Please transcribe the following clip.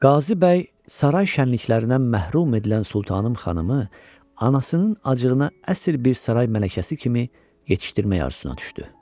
Qazı bəy saray şənliklərindən məhrum edilən Sultanım xanımı anasının acığına əsil bir saray mələkəsi kimi yetişdirmək arzısına düşdü.